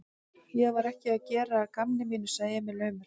Ég var ekki að gera að gamni mínu, sagði Emil aumur.